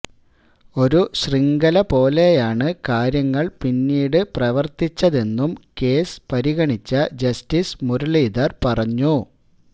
ഒരു ശൃംഖല പോലെയാണ് കാര്യങ്ങള് പിന്നീട് പ്രവര്ത്തിച്ചതെന്നും കേസ് പരിഗണിച്ച ജസ്റ്റിസ് മുരളീധര് പറഞ്ഞു